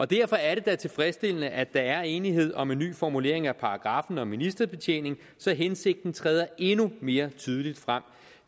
derfor er det da tilfredsstillende at der er enighed om en ny formulering af paragraffen om ministerbetjening så hensigten træder endnu mere tydeligt frem